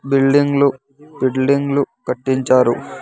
Building లు building లు కట్టించారు.